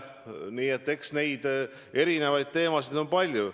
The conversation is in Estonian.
Nii et eks teemasid on palju.